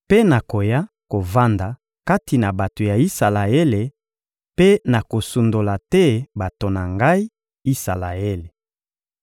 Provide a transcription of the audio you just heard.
Mpe nakoya kovanda kati na bato ya Isalaele mpe nakosundola te bato na Ngai, Isalaele.